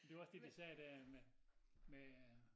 Det var også det de sagde dér med med øh